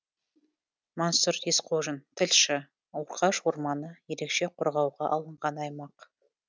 мансұр есқожин тілші орқаш орманы ерекше қорғауға алынған аймақ